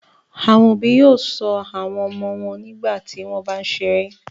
Àwọn òbí yóò ṣọ́ àwọn ọmọ wọn nígbà tí wọ́n bá ń ṣeré.